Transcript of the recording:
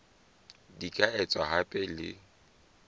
di ka etswa hape le